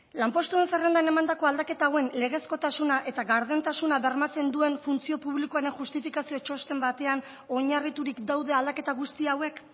lanpostuen zerrendan emandako aldaketa hauen legezkotasuna eta gardentasuna bermatzen duen funtzio publikoren justifikazio txosten batean oinarriturik daude aldaketa guzti hauek